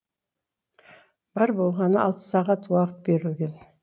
бар болғаны алты сағат уақыт берілген